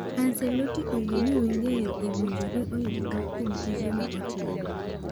Ancelotti oyie ni Wenger owinjore oyud pak kuom tije ma otimo.